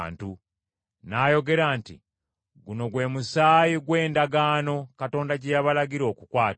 N’ayogera nti, “Guno gwe musaayi gw’endagaano Katonda gye yabalagira okukwata.”